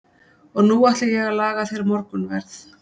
Og nú ætla ég að laga þér morgunverð.